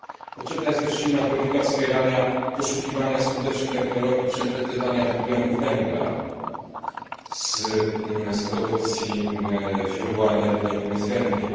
Potrzebna jest też silna polityka wspierania poszukiwania skutecznych technologii przechwytywania dwutlenku węgla z produkcji źródła energii, jakim jest węgiel.